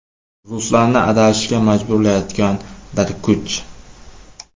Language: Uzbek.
Ruslarni adashishga majburlayotgan bir kuch.